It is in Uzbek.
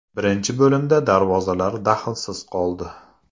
Birinchi bo‘limda darvozalar daxlsiz qoldi.